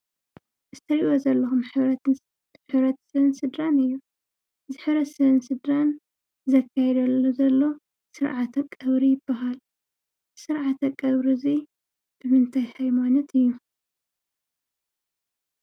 እዚ እትሪይዎ ዘለኩም ሕብረተሰብን ስድራን እዩ። እዚ ሕብረተሰብን ስድራን ዘካይዶ ዘሎ ስርዕተ ቀብሪ ይበሃል። እዚ ስርዓተ ቀብሪ እዙይ ብምንታይ ሃይማኖት እዩ?